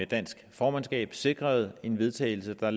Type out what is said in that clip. dansk formandskab sikrede en vedtagelse der